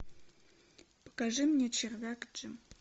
покажи мне червяк джим